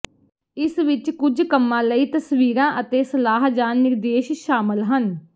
ਇਸ ਵਿੱਚ ਕੁਝ ਕੰਮਾਂ ਲਈ ਤਸਵੀਰਾਂ ਅਤੇ ਸਲਾਹ ਜਾਂ ਨਿਰਦੇਸ਼ ਸ਼ਾਮਲ ਹਨ